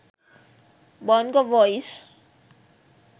bongo voice